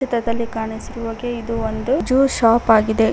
ಚಿತ್ರದಲ್ಲಿ ಕಾಣಿಸಿರುವ ಹಾಗೆ ಇದು ಒಂದು ಜ್ಯೂಸ್ ಶಾಪ್ ಆಗಿದೆ.